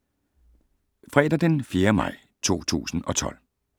Fredag d. 4. maj 2012